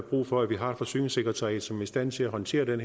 brug for at vi har et forsyningssekretariat som er i stand til at håndtere den